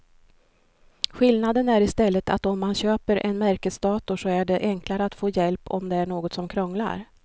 Skillnaden är i stället att om man köper en märkesdator så är det enklare att få hjälp om det är något som krånglar.